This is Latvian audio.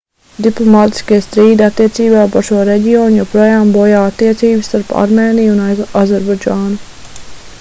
diplomātiskie strīdi attiecībā par šo reģionu joprojām bojā attiecības starp armēniju un azerbaidžānu